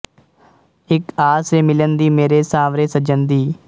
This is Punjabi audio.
ਇੱਕ ਆਸ ਏ ਮਿਲਣ ਦੀ ਮੇਰੇ ਸਾਂਵਰੇ ਸੱਜਣ ਦੀ